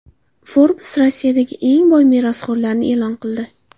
Forbes Rossiyadagi eng boy merosxo‘rlarni e’lon qildi.